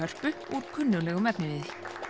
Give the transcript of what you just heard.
úr kunnuglegum efniviði